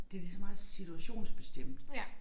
Det lige så meget situationsbestemt